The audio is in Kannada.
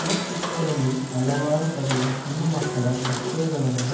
ಈ ಚಿತ್ರದಲ್ಲಿ ಹಲವಾರು ಬಗೆಯ ಹೆಣ್ಣು ಮಕ್ಕಳ ಬಟ್ಟೆಗಳನ್ನು--